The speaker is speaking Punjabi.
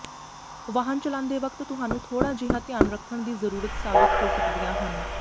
ਵਾਹਨ ਚਲਾਂਦੇ ਵਕਤ ਤੁਹਾਨੂੰ ਥੋੜ੍ਹਾ ਜਿਹਾ ਧਿਆਨ ਰੱਖਣ ਦੀ ਜ਼ਰੂਰਤ ਸਾਬਤ ਹੋ ਸਕਦੀਆਂ ਹਨ